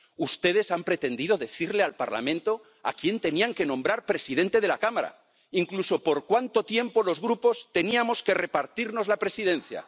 Ustedes han pretendido decirle al Parlamento a quien tenían que nombrar presidente de la Cámara, incluso por cuanto tiempo los Grupos teníamos que repartirnos la Presidencia.